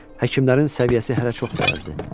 Həkimlərin səviyyəsi hələ çox da yazdı.